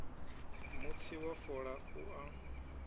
mutsi wa fola u a